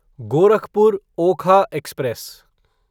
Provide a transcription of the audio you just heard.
Gorakhpur Okha express